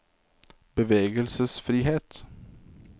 bevegelsesfrihet